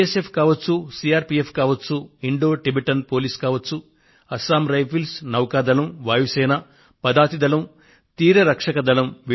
B S F కావచ్చు C R P F కావచ్చు Indo Tibetan police కావచ్చు Assam rifles నౌకాదళం వాయుసేన పదాతి దళం తీర రక్షక దళం